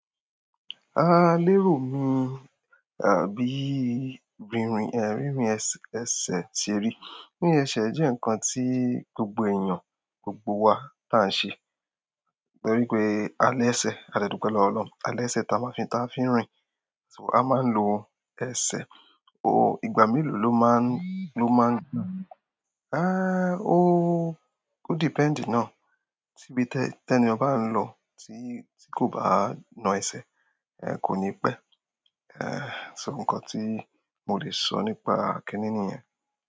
Lérò mi, àbí rínrin ẹsẹ ṣe rí. Rínrin ẹsẹ jẹ́ ǹkan tí gbogbo èèyàn, gbogbo wa tá n ṣe, torí pé a lẹsẹ. A dẹ dùpẹ̀ lowo Ọlọ́run. A lẹsẹ tá maa fi ń rìn. A máa ń lo ẹsẹ. Ooo, ìgbà mélòó ló máa ń, ló máa n? Ó depend náà. Tí ibi tẹ́ni ọhun ba ń lọ tí kò bá na ẹsẹ, kò ní pẹ́. So ǹkan tí mo lè sọ nípa kínní nìyẹn.